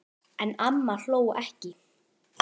En amma hló ekki.